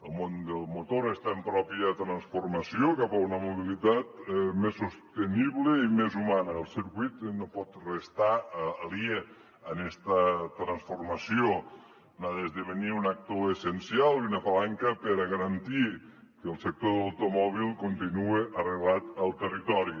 el món del motor està en pròpia transformació cap a una mobilitat més sostenible i més humana el circuit no pot restar aliè a esta transformació n’ha d’esdevenir un actor essencial i una palanca per a garantir que el sector de l’automòbil continua arrelat al territori